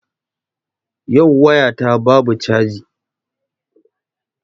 Yau waya ta babu caji.